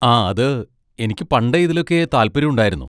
ആ, അത്, എനിക്ക് പണ്ടേ ഇതിലൊക്കെ താല്പര്യം ഉണ്ടായിരുന്നു.